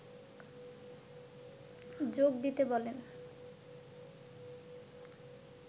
যোগ দিতে বলেন